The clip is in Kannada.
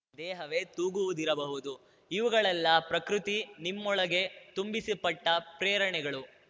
ದೇಹವೇ ತೂಗುವುದಿರಬಹುದು ಇವುಗಳೆಲ್ಲಾ ಪ್ರಕೃತಿ ನಿಮ್ಮೊಳಗೆ ತುಂಬಿಸಿಪಟ್ಟಪ್ರೇರಣೆಗಳು